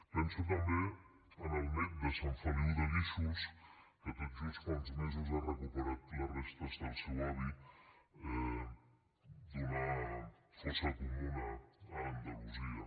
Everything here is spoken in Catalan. penso també en el net de sant feliu de guíxols que tot just fa uns mesos ha recuperat les restes del seu avi d’una fossa comuna a andalusia